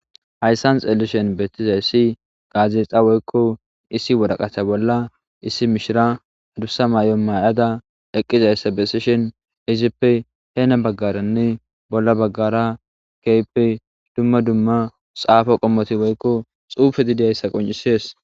Hayssan xeelishen beettizayssi gaazexa woykko issi wodaqata bolla issi mishira adussa may'o may'ada eqqizayssa besishen izippe heena baggaranne bolla baggara keype dumma dumma xaafo qommoti woykko xuufe didiyayssa qoncisees